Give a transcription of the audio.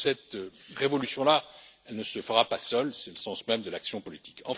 Cette révolution là, elle ne se fera pas seule, c'est le sens même de l'action politique.